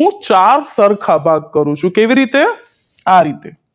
હું ચાર સરખા ભાગ કરું છું કેવી રીતે આ રીતે